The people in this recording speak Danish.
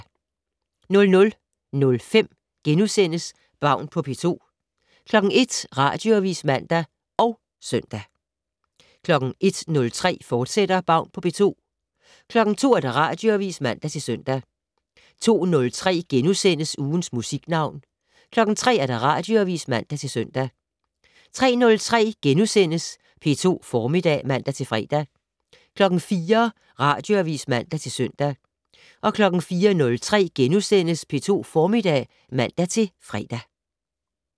00:05: Baun på P2 * 01:00: Radioavis (man og søn) 01:03: Baun på P2, fortsat 02:00: Radioavis (man-søn) 02:03: Ugens Musiknavn * 03:00: Radioavis (man-søn) 03:03: P2 Formiddag *(man-fre) 04:00: Radioavis (man-søn) 04:03: P2 Formiddag *(man-fre)